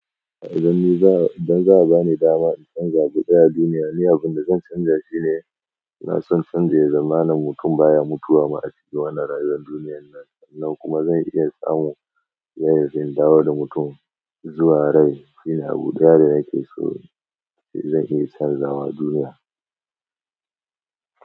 Idan za a ba ni dama in canza abu ɗaya a duniya, ni abin da zan canja shi ne, na so canja zamanin mutum baya mutuwa ma a cikin wannan rayuwan duniyyar nan. Kuma zan iya samu yadda zan dawo da mutum zuwa rai. Shi ne abu ɗaya da nake so zan iya canzawa duniya.